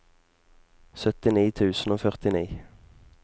syttini tusen og førtini